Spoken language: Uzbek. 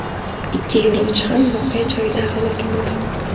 Ikki yo‘lovchi ham voqea joyida halok bo‘ldi.